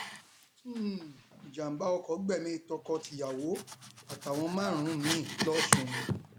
um ìjàḿbà oko gbẹmí tọkọtìyàwó àtàwọn márùnún mìín lọsùn